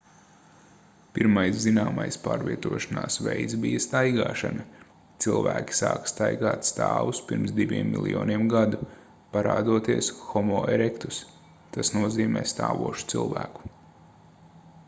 pirmais zināmais pārvietošanās veids bija staigāšana cilvēki sāka staigāt stāvus pirms diviem miljoniem gadu parādoties homo erectus tas nozīmē stāvošu cilvēku